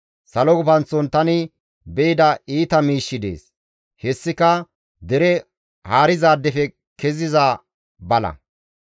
Salo gufanththon tani be7ida iita miishshi dees; hessika dere haarizaadefe keziza bala.